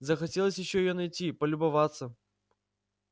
захотелось ещё её найти полюбоваться